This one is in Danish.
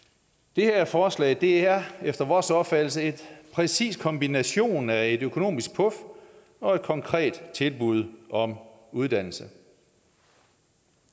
det her forslag er efter vores opfattelse en præcis kombination af et økonomisk puf og et konkret tilbud om uddannelse